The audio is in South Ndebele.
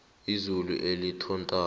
izulu elithontabo